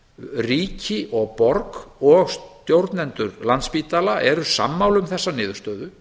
ríki og borg og stjórnendur landspítala eru sammála um þessa niðurstöðu